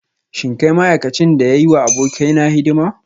Shin kai ma'aikacin da ya yi wa abokaina hidima?